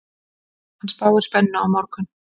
Hann spáir spennu á morgun.